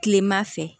Kilema fɛ